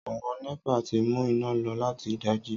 Àwon népà ti mú iná lo láti ìdájí